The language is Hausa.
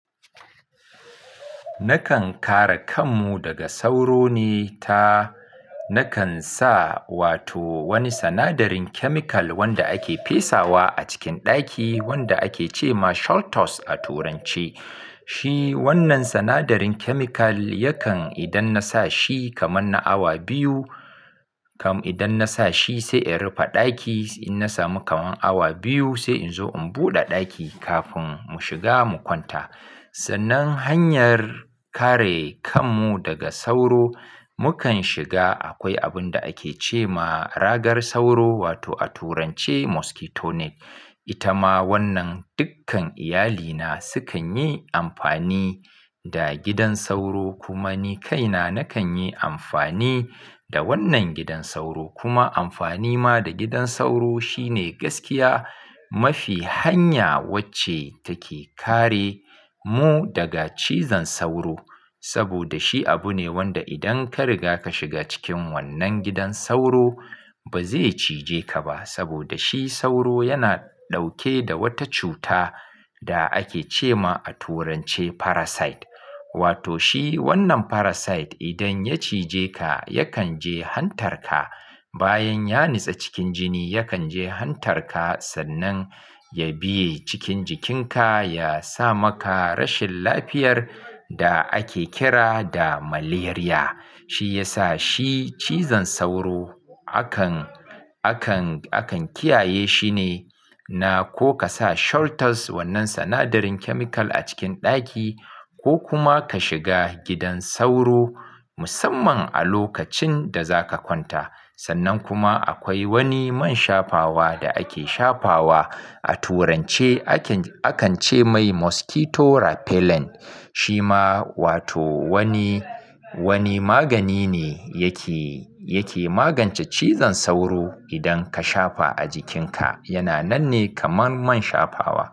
Nakan kare kanmu daga sauro ne ta, nakan sa wato wani sanadarin chemical wanda ake pesawa a cikin ɗaki wanda ake ce ma shaltos a turance. Shi wannan sanadarin chemical yakan idan na sa shi kaman na awa biyu, kam idan na sa shi sai in rufe ɗaki. In na samu kaman awa biyu sai in zo in buɗe ɗaki kafun mu shiga mu kwanta. Sannan hanyar kare kanmu daga sauro mukan shiga akwai abun da ake ce ma ragar sauro wato a turance mosquito net. Ita ma wannan dukkan iyalina sukan yi amfani da gidan sauro. Kuma ni kaina nakan yi amfani da wannan gidan sauro. Kuma amfani ma da gidan sauro shine gaskiya mafi hanya wacce take kare mu daga cizon sauro. Saboda shi abu ne wanda idan ka riga ka shiga cikin wannan gidan sauro ba zai cije ka ba. Saboda shi sauro yana ɗauke da wata cuta da ake ce ma a turance parasite. Wato shi wannan parasite idan ya cije ka yakan je hantar ka. Bayan ya nitse cikin jini yakan je hantar ka sannan ya biye cikin jikinka. Ya sa maka rashin lafiyar da ake kira da malaria. Shi ya sa shi cizon sauro akan, akan, akan kiyaye shi ne. Na ko ka sa shaltos wannan sanadarin chemical a cikin ɗaki ko kuma ka shiga gidan sauro musamman a lokacin da za ka kwanta. Sannan kuma akwai wani man shafawa da ake shafawa a turance aken, akan ce mai mosquito rapellent. Shi ma wato wani, wani magani ne yake, yake magance cizon sauro. Idan ka shafa a jikinka yana nan ne kaman man shafawa.